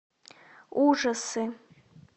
ужасы